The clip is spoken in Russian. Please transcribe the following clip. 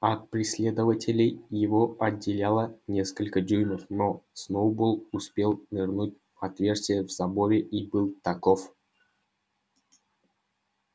от преследователей его отделяло несколько дюймов но сноуболл успел нырнуть в отверстие в заборе и был таков